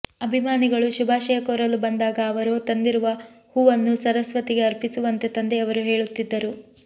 ಅಭಿಮಾನಿಗಳು ಶುಭಾಶಯ ಕೋರಲು ಬಂದಾಗ ಅವರು ತಂದಿರುವ ಹೂವನ್ನು ಸರಸ್ವತಿಗೆ ಅರ್ಪಿಸುವಂತೆ ತಂದೆಯವರು ಹೇಳುತ್ತಿದ್ದರು